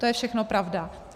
To je všechno pravda.